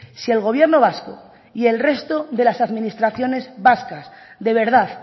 si el gobierno vasco y el resto de las administraciones vascas de verdad